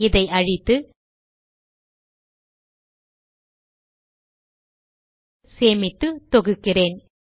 இதை அழித்து சேமித்து தொகுக்கிறேன்